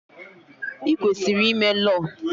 Ị kwesịrị ime Lọọ!